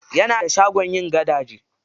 Yana da shagon yin gadaje.